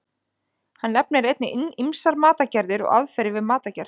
Hann nefnir einnig ýmsar matartegundir og aðferðir við matargerð.